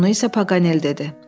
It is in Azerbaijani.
Bunu isə Paqanel dedi.